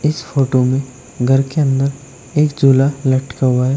इस फोटो में घर के अंदर एक झूला लटका हुआ है।